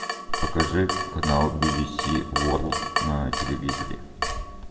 покажи канал би би си ворлд на телевизоре